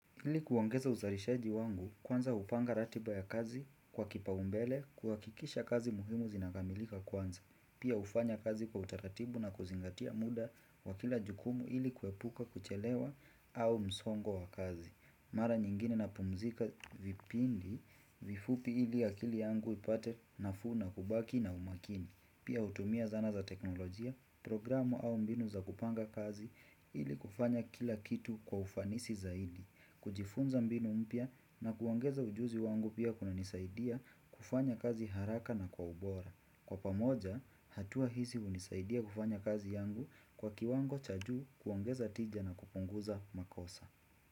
Ili kuongeza uzalishaji wangu, kwanza hupanga ratiba ya kazi kwa kipau mbele kuhakikisha kazi muhimu zinamilika kwanza. Pia hufanya kazi kwa utaratibu na kuzingatia muda wakila jukumu ili kuepuka kuchelewa au msongo wa kazi. Mara nyingine napumzika vipindi vifupi ili akili yangu ipate nafuu na kubaki na umakini. Pia hutumia zana za teknolojia, programu au mbinu za kupanga kazi ili kufanya kila kitu kwa ufanisi zaidi, kujifunza mbinu mpya na kuongeza ujuzi wangu pia kuna nisaidia kufanya kazi haraka na kwa ubora. Kwa pamoja, hatua hizi hunisaidia kufanya kazi yangu kwa kiwango cha juu kuongeza tija na kupunguza makosa.